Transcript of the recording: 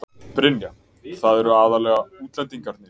Brynja: Það eru aðallega útlendingarnir?